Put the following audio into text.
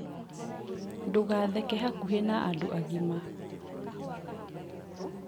ndũgatheke hakuhĩ na andũ agima